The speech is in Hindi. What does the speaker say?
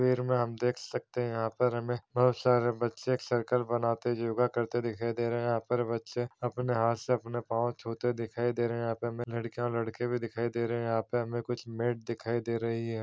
भीड़ में हम देख सकते है यहाँ पर हमें बहोत सारे बच्चे एक सर्कल बनाते योगा करते दिखाई दे रहे है यहाँ पर बच्चे अपने हाथ से अपने पाँव छूते दिखाई दे रहे है यहाँ पे हमें लड़कियाँ और लड़के भी दिखाई दे रहे है यहाँ पे हमें कुछ मेट दिखाई दे रही हैं।